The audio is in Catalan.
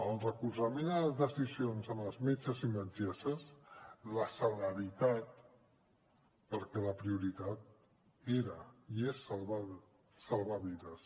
el recolzament a les decisions dels metges i metgesses la celeritat perquè la prioritat era i és salvar vides